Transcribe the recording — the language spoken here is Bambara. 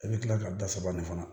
I bɛ tila ka da saba nin fana